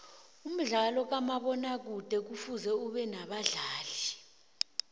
umdlalo kamabona kude kufuze ubenabadlali